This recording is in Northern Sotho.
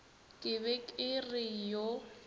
ke be ke re yo